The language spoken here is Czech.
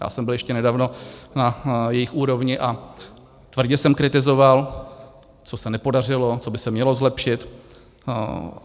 Já jsem byl ještě nedávno na jejich úrovni a tvrdě jsem kritizoval, co se nepodařilo, co by se mělo zlepšit.